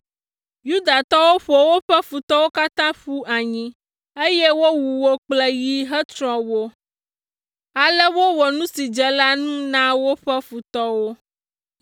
Yudatɔwo ƒo woƒe futɔwo katã ƒu anyi, eye wowu wo kple yi hetsrɔ̃ wo. Ale wowɔ nu si dze wo ŋu la na woƒe futɔwo.